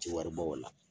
Ti wari bɔ o la